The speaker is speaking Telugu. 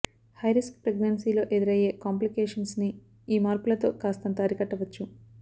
హై రిస్క్ ప్రెగ్నన్సీ లో ఎదురయ్యే కాంప్లికేషన్స్ ని ఈ మార్పులతో కాస్తంత అరికట్టవచ్చు